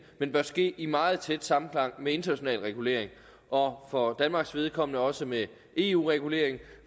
men bør ske i meget tæt samklang med international regulering og for danmarks vedkommende også med eu regulering